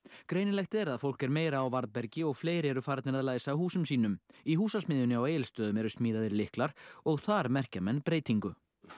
greinilegt er að fólk er meira á varðbergi og fleiri eru farnir að læsa húsum sínum í Húsasmiðjunni á Egilsstöðum eru smíðaðir lyklar og þar merkja menn breytingu